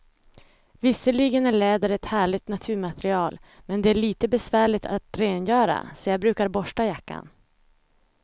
Visserligen är läder ett härligt naturmaterial, men det är lite besvärligt att rengöra, så jag brukar borsta jackan.